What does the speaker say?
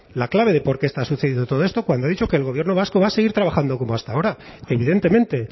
la clave de por qué está sucediendo todo esto cuando he dicho que el gobierno vasco va a seguir trabajando como hasta ahora evidentemente